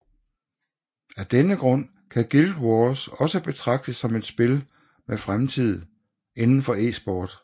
Af denne grund kan Guild Wars også betragtes som et spil med fremtid inden for eSport